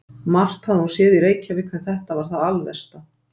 Margt hafði hún séð í Reykjavík en þetta var það alversta.